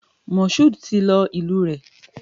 Mashood ti lọ ìlú rẹ̀.